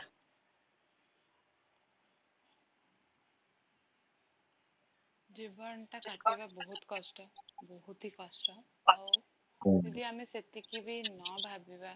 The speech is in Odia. ଜୀବଟା କାଟିବା ବହୁତ କଷ୍ଟ ବହୁତ ହି କଷ୍ଟ ଆଉ ଯଦି ଆମେ ସେତିକିବି ନଭାବିବା